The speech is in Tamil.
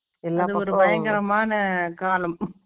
ஒரு பயங்கரமான காலம்